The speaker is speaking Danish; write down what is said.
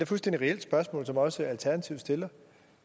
fuldstændig reelt spørgsmål som også alternativet stiller